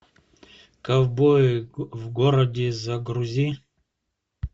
ковбои в городе загрузи